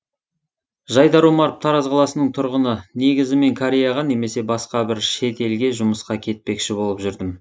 жайдар омаров тараз қаласының тұрғыны негізі мен кореяға немесе басқа бір шет елге жұмысқа кетпекші болып жүрдім